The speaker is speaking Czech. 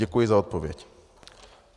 Děkuji za odpověď.